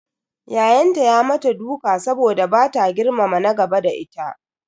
Ya'yanta ya mata duka saboda bata girmama na gaba da ita.